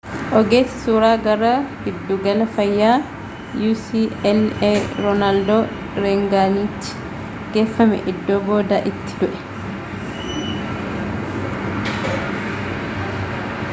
ogeessi suuraa gara giddugala fayyaa ucla roonaald reeganitti geeffame iddoo booda itti du'e